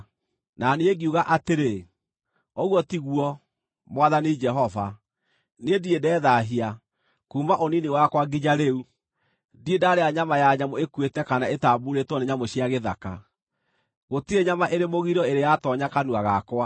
Na niĩ ngiuga atĩrĩ, “Ũguo ti guo, Mwathani Jehova! Niĩ ndirĩ ndethaahia. Kuuma ũnini wakwa nginya rĩu, ndirĩ ndarĩa nyama ya nyamũ ĩkuĩte kana ĩtambuurĩtwo nĩ nyamũ cia gĩthaka. Gũtirĩ nyama ĩrĩ mũgiro ĩrĩ yatoonya kanua gakwa.”